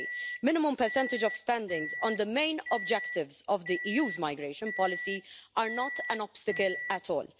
me to say that a minimum percentage of spending on the main objectives of the EU's migration policy is not an obstacle at all.